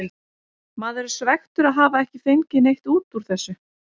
Maður er svekktur að hafa ekki fengið neitt út úr þessu.